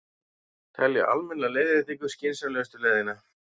Telja almenna leiðréttingu skynsamlegustu leiðina